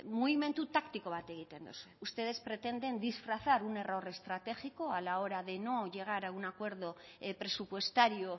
mugimendu taktiko bat egiten dozue ustedes pretenden disfrazar un error estratégico a la hora de no llegar a un acuerdo presupuestario